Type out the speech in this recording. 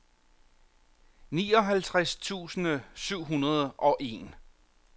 nioghalvtreds tusind syv hundrede og en